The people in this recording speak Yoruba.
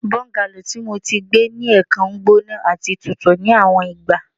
Bungalow ti Mo ti gbe ni ẹẹkan gbona ati tutu ni awọn igba